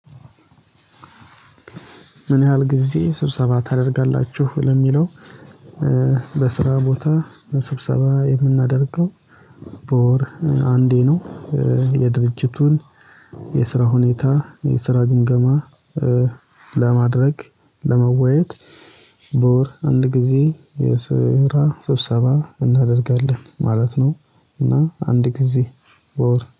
ምን ያህል ጊዜ ስብሰባ ታደርጋላችሁ ለሚለው? በስራ ቦታ ስብሰባ የምናደርገው በወር አንዴ ነው። የድርጅቱን የስራ ሁኔታ የስራ ግንገማ። ለማድረግ ለመወያየት በወር አንድ ጊዜ የስራ ስብሰባ እናደርጋለን ማለት ነው። እና አንድ ጊዜ በወር